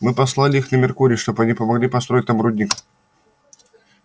мы послали их на меркурий чтобы они помогли построить там рудник